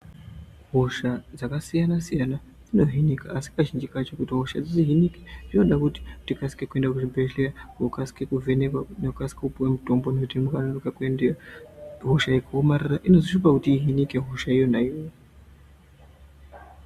Hosha dzakasiyana siyana dzinohinika asi kazhinji kacho kuti dzihinike zvinoda kuti tikasike kuenda kuchibhedhlera ukasike kuvhenekwa ukasike kupiwe mutombo nekuti ukanonoka kuendeyo hosha ikaomarara inozonetsa kuhinika.